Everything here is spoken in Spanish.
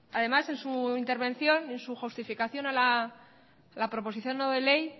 además en su intervención en su justificación a la proposición no de ley